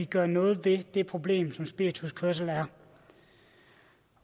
gøre noget ved det problem som spirituskørsel er